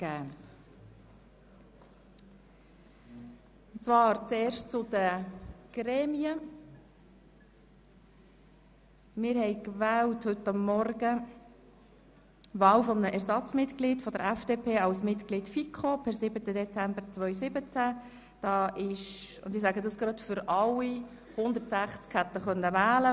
Bei 117 ausgeteilten und 117 eingegangenen Wahlzetteln, wovon leer 3 und ungültig 0, in Betracht fallend 114, wird bei einem absoluten Mehr von 58 gewählt: